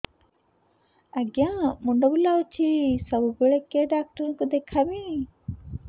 ଆଜ୍ଞା ମୁଣ୍ଡ ବୁଲାଉଛି ସବୁବେଳେ କେ ଡାକ୍ତର କୁ ଦେଖାମି